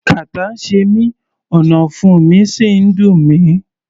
Kàtá ń ṣe mí, ọ̀nàfun sì ń dùn mí.